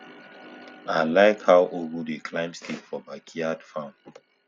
i like how ugu dey climb stick for backyard farm